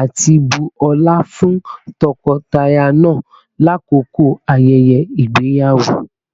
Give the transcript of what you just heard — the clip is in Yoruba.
ati bu ọla fun tọkọtaya naa lakoko ayẹyẹ igbeyawo